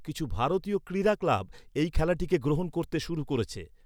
কিছু ভারতীয় ক্রীড়া ক্লাব এই খেলাটিকে গ্রহণ করতে শুরু করেছে।